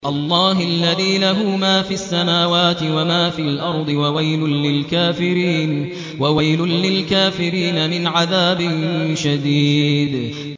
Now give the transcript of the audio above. اللَّهِ الَّذِي لَهُ مَا فِي السَّمَاوَاتِ وَمَا فِي الْأَرْضِ ۗ وَوَيْلٌ لِّلْكَافِرِينَ مِنْ عَذَابٍ شَدِيدٍ